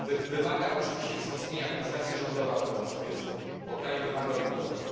Wymaga oczywiście wzmocnienia administracja rządowa, która ma swoje cele, bo kraj wymaga odbudowy.